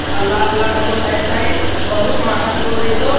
अ लाल लाल एको साईड बहुत महेंगा पेट्रोल दे चो।